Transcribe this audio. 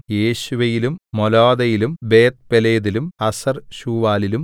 യേശുവയിലും മോലാദയിലും ബേത്ത്പേലെതിലും ഹസർശൂവാലിലും